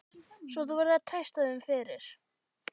Svo þú verður að treysta þeim fyrir.